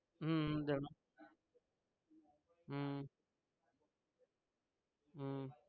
હમ હમ હમ હમ